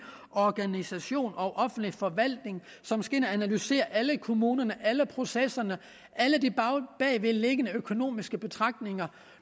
organisation og offentlig forvaltning som skal ind at analysere alle kommuner alle processer alle i de bagvedliggende økonomiske betragtninger